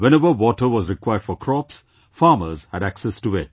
Whenever water was required for crops, farmers had access to it